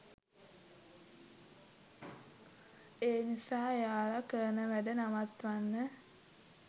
ඒ නිසා එයාලා කරන වැඩ නවත්වන්න